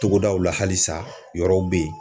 Togodaw la halisa yɔrɔw bɛ yen